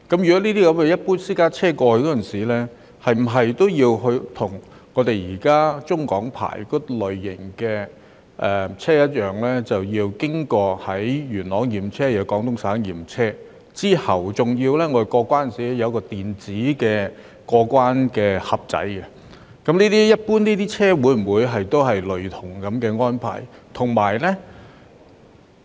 那麼，如果一般私家車想北上時，是否也要像現時持有中港牌照的車輛般，同樣需要先到元朗驗車，然後再到廣東省驗車，並且在過關時經過一個電子"盒子"，一般車輛會否有類似的安排呢？